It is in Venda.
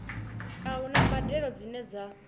a huna mbadelo dzine dza